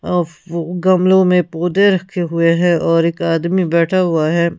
अ और गमलों में पौधे रखे हुए हैं और एक आदमी बैठा हुआ है।